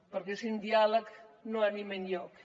perquè sense diàleg no anem enlloc